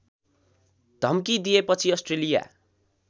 धम्की दिएपछि अस्ट्रेलिया